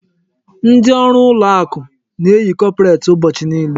Ndi ọrụ ụlọ akụ na-eyi kọpret ụbọchị niile.